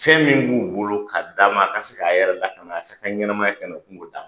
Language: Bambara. Fɛn min b'u bolo k'a damakasi a yɛrɛ la ka na se ka ɲɛnamaya kɛ ka na kungo ta